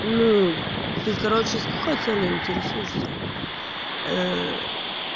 ну ты короче с какой целью интересуешься